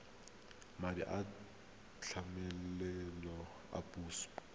madi a tlamelo a puso